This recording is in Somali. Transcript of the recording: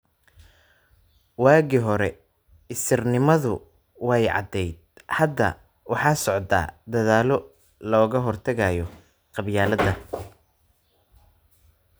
Waagii hore, isirnimadu way cadayd. Hadda waxaa socda dadaallo looga hortagayo qabyaaladda.